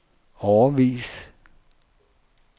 årevis